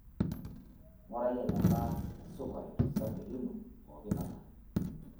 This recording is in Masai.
Ngurai eneba esukari tosarge lino pooki kata.